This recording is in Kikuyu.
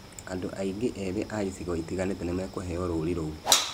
Andũ aingĩ ethĩ a icigo itiganĩte nĩ mekũheo rũũri rũu.